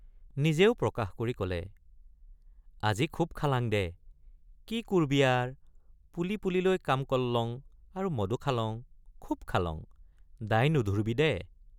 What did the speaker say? নিজেও প্ৰকাশ কৰি কলে আজি খুব খালাং দে কি কুৰ্বি আৰ পুলী পুলীলৈ কাম কল্লং আৰু মদো খালং খুব খালং দায় নুধুৰ্বিদে।